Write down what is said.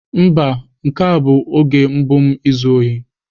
Mba, nke a bụ oge mbụ m na-ezu ohi.